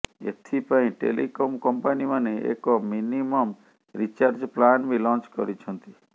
ଏଥିପାଇଁ ଟେଲିକମ କଂପାନୀମାନେ ଏକ ମିନିମମ ରିଚାର୍ଜ ପ୍ଲାନ ବି ଲଂଚ କରିଛନ୍ତି